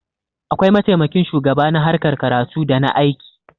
akwai mataimakin shugaba na harkar karatu da na aiki